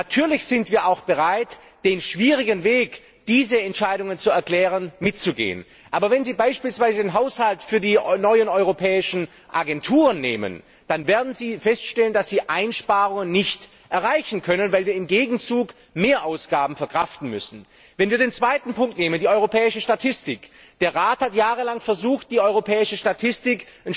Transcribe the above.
Natürlich sind wir auch bereit, den schwierigen Weg, diese Entscheidungen zu erklären, mitzugehen. Aber wenn Sie beispielsweise einen Haushalt für die neuen europäischen Agenturen nehmen, dann werden Sie feststellen, dass Sie Einsparungen nicht ereichen können, weil wir im Gegenzug Mehrausgaben verkraften müssen. Wenn wir den zweiten Punkt nehmen, die europäische Statistik Der Rat hat jahrelang versucht, die europäische Statistik